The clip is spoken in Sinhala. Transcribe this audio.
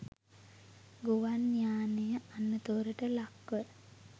ගුවන් යානය අනතුරට ලක්ව